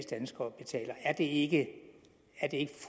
danskere betaler er det ikke